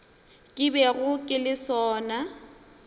ke bego ke le sona